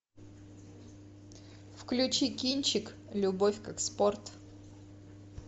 включи кинчик любовь как спорт